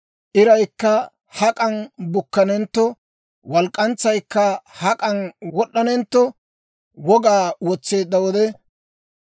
iraykka hak'an bukkanentto, walk'k'antsaykka hak'an wod'd'anentto wogaa wotseedda wode,